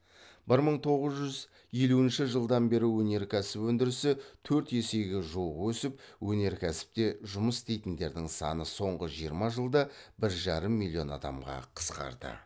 бір мың тоғыз жүз елуінші жылдан бері өнеркәсіп өндірісі төрт есеге жуық өсіп өнеркәсіпте жұмыс істейтіндердің саны соңғы жиырма жылда бір жарым миллион адамға қысқарды